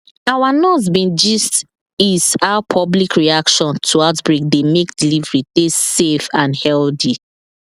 our nurse bin gist is how public reaction to outbreak dey make delivery dey safe and healthy